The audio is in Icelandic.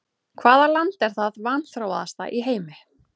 Hvaða land er það vanþróaðasta í heimi?